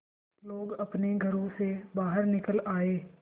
लोग अपने घरों से बाहर निकल आए